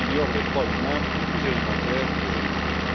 les droits humains les plus élémentaires des jeunes filles.